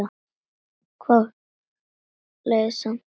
Leið samt vel.